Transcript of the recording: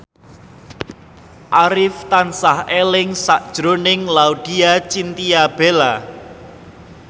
Arif tansah eling sakjroning Laudya Chintya Bella